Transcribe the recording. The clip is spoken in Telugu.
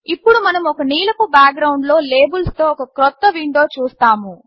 ఇప్పుడు మనం ఒక నీలపు బాక్గ్రౌండ్లో లేబుల్స్తో ఒక క్రొత్త విండో చూస్తాము